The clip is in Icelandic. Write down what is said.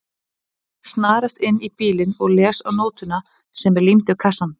Snarast inn í bílinn og les á nótuna sem er límd við kassann